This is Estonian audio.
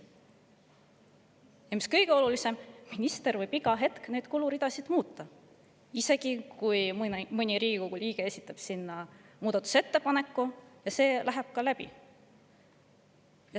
Ja kõige olulisem on see, et minister võib iga hetk neid kuluridasid muuta, isegi siis, kui mõni Riigikogu liige on esitanud muudatusettepaneku ja see muudatusettepanek on läbi läinud.